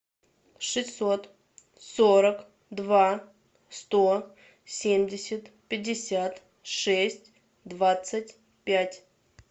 шестьсот сорок два сто семьдесят пятьдесят шесть двадцать пять